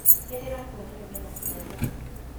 Nĩndĩrakũonire we na aciari aku